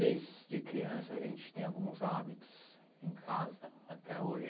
Desde criança a gente tem alguns hábitos em casa até hoje.